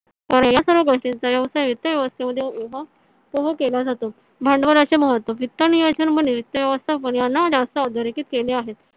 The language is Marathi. या सर्व गोष्टींचा व्यवसाय वित्त व्यवस्थे मध्ये उभा उभा केला जातो. भांडवळाचे महत्व वित्त नियोजन वित्त व्यवस्थ अधोरेखित केले आहे.